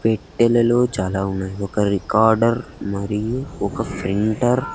పెట్టెలలో చాలా ఉన్నాయ్ ఒక రికార్డర్ మరియు ఒక ఫ్రింటర్ --